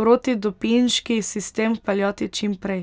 protidopinški sistem vpeljati čim prej.